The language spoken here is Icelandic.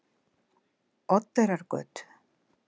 Oddeyrargötu